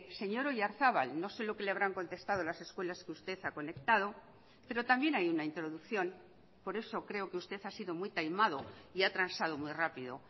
señor oyarzabal no sé lo que le habrán contestado las escuelas que usted ha conectado pero también hay una introducción por eso creo que usted ha sido muy taimado y ha transado muy rápido